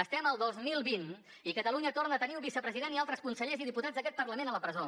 estem al dos mil vint i catalunya torna a tenir un vicepresident i altres consellers i diputats d’aquest parlament a la presó